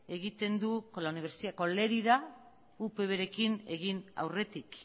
egiten du con lerida upvrekin egin aurretik